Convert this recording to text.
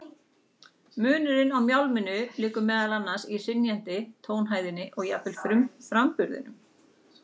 Munurinn á mjálminu liggur meðal annars í hrynjandinni, tónhæðinni og jafnvel framburðinum.